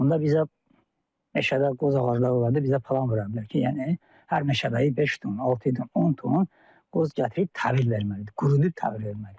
Onda bizə meşədə qoz ağacları olanda bizə plan vurulurdular ki, yəni hər meşəbəyi beş ton, altı ton, on ton qoz gətirib təhvil verməlidir, qurutub təhvil verməlidir.